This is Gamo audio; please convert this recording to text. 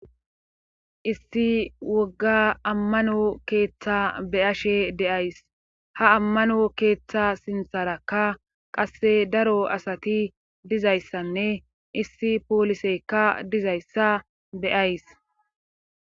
issi wogga ammano keeththa beyashe deyays ha ammano keeththa sintharakka qasse daro asati dizayssanne issi poolisekka dizayssa beyays